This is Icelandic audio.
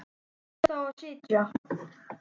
Hvar átti ég þá að sitja?